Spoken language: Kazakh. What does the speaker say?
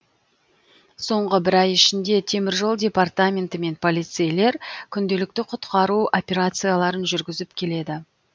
соңғы бір ай ішінде темір жол департаменті мен полицейлер күнделікті құтқару операцияларын жүргізіп келеді